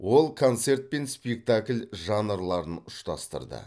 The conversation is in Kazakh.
ол концерт пен спектакль жанрларын ұштастырды